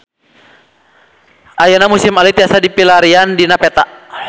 Ayeuna Museum Alit tiasa dipilarian dina peta